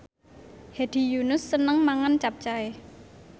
Hedi Yunus seneng mangan capcay